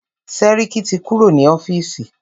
Sẹ́ríkí ti kúrò ní ọ́fìsì.